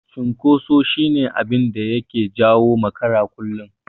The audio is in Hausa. Cunkoso shi ne abinda yake jawo makarata kullum.